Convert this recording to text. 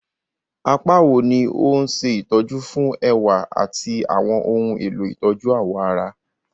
Apá wo ni ó ń ṣe ìtọ́jú fún ẹwà àti àwọn ohun èlò ìtọ́jú awọ ara?